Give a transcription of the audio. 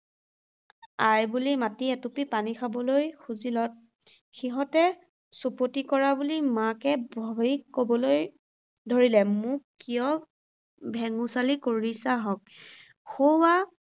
আই বুলি মাতি এটুপি পানী খাবলৈ খুজিলত, সিহঁতে চুপতি কৰা বুলি মাকে ভাবি ক’বলৈ ধৰিলে, মোক কিয় ভেঙুচালি কৰিছা হঁক? সৌৱা